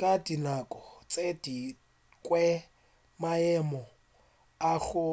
ka dinako tše dingwe maemo a go